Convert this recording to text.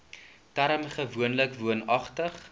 term gewoonlik woonagtig